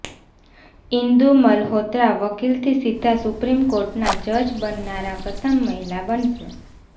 ઈન્દુ મલ્હોત્રા વકીલથી સીધા સુપ્રીમ કોર્ટના જજ બનનારા પ્રથમ મહિલા બનશે